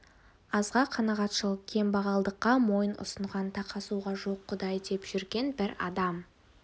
азға қанағатшыл кембағалдыққа мойын ұсынған тақасуға жоқ құдай деп жүрген бір адам